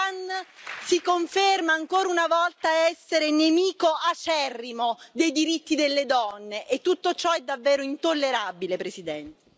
L'Iran si conferma ancora una volta essere nemico acerrimo dei diritti delle donne e tutto ciò è davvero intollerabile, Presidente.